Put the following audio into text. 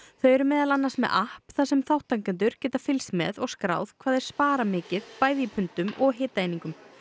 þau eru meðal annars með app þar sem þátttakendur geta fylgst með og skráð hvað þeir spara mikið bæði í pundum og hitaeiningum